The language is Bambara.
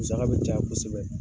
Musaka bɛ caya kosɛbɛ.